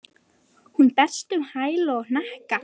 Hún berst um á hæl og hnakka.